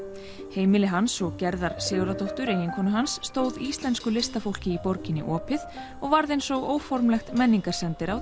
heimili hans og Gerðar Sigurðardóttur eiginkonu hans stóð íslensku listafólki í borginni opið og varð eins og óformlegt